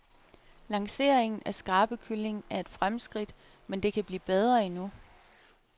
Lancering af skrabekylling er et fremskridt, men det kan blive bedre endnu.